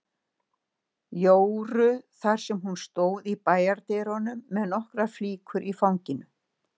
Jóru þar sem hún stóð í bæjardyrunum með nokkrar flíkur í fanginu.